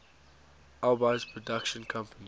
alby's production company